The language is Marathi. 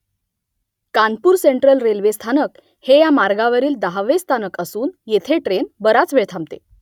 कानपूर सेंट्रल रेल्वे स्थानक हे या मार्गावरील दहावे स्थानक असून येथे ट्रेन बराच वेळ थांबते